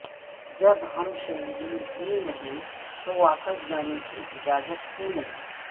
جب ہم شہری ہی نہیں تو واپس جانے کی اجازت کیوں نہیں